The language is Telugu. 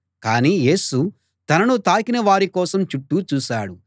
కాని యేసు తనను తాకిన వారికోసం చుట్టూ చూశాడు